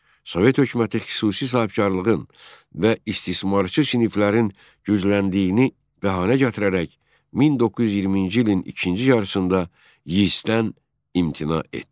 Sovet hökuməti xüsusi sahibkarlığın və istismarçı siniflərin gücləndiyini bəhanə gətirərək 1920-ci ilin ikinci yarısında Yisdən imtina etdi.